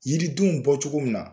Yiridenw bɔ cogo min na